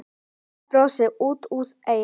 Lilla brosti út að eyrum.